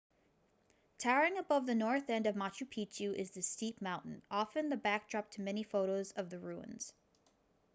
towering above the north end of machu picchu is this steep mountain often the backdrop to many photos of the ruins